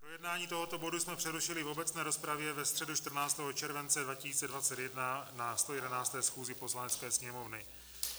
Projednání tohoto bodu jsme přerušili v obecné rozpravě ve středu 14. července 2021 na 111. schůzi Poslanecké sněmovny.